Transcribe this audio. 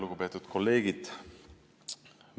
Lugupeetud kolleegid!